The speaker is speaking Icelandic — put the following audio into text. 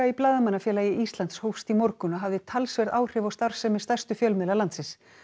í Blaðamannafélagi Íslands hófst í morgun og hafði talsverð áhrif á starfsemi stærstu fjölmiðla landsins